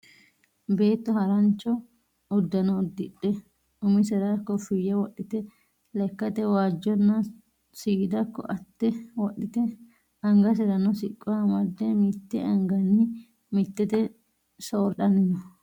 Beetto harancho uddano udidhe umisera kofiya wodhite lekkate waajjonna seeda koatte wodhite angaserano siqqo amadde mitte anganni mittete soridhanni no.